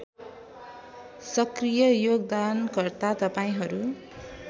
सकृय योगदानकर्ता तपाईँहरू